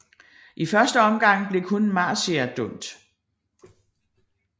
I første omgang blev kun Marcia dømt